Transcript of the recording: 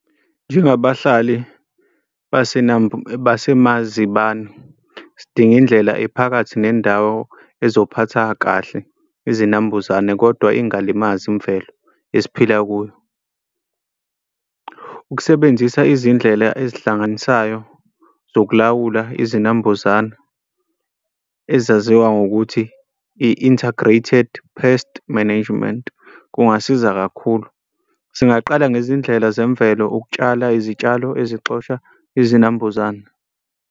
Njengabahlali basemazibano sidinga indlela ephakathi nendawo ezophatha kahle izinambuzane kodwa ingalimazi imvelo esiphila kuyo. Ukusebenzisa izindlela ezihlanganisayo zokulawula izinambuzane ezaziwa ngokuthi i-integrated pest management kungasiza kakhulu. Singaqala ngezindlela zemvelo ukutshala izitshalo ezixosha izinambuzane.